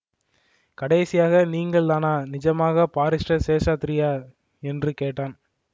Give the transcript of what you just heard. கடைசியாக நீங்கள் தானா நிஜமாகப் பாரிஸ்டர் சேஷாத்ரியா என்று கேட்டான்